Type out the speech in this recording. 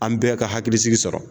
An bɛɛ ka hakilisigi sɔrɔ.